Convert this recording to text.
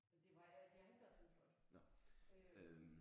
Det var øh det har ikke været Pink Floyd øh